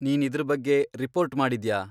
ನೀನ್ ಇದ್ರ್ ಬಗ್ಗೆ ರಿಪೋರ್ಟ್ ಮಾಡಿದ್ಯಾ?